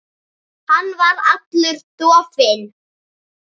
Hann var allur dofinn.